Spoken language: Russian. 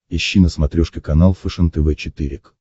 ищи на смотрешке канал фэшен тв четыре к